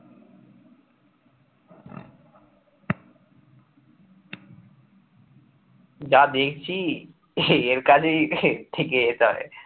যা দেখছি এই কাজেই থেকে